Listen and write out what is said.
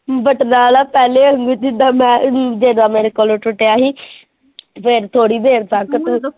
ਬਟਨਾਂ ਵਾਲਾ ਪਹਿਲਾ ਵਾਗੁਂ ਜਿਦਾਂ ਮੈਂ ਮੇਰੇ ਕੋਲੋ ਟੁੱਟਿਆ ਸੀ ਫੇਰ ਥੋੜੀ ਦੇਰ ਤੱਕ।